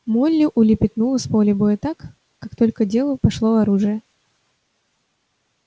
молли улепетнула с поля боя так как только в дело пошло оружие